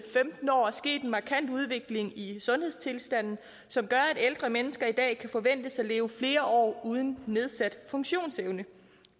femten år er sket en markant udvikling i sundhedstilstanden som gør at ældre mennesker i dag kan forventes at leve flere år uden nedsat funktionsevne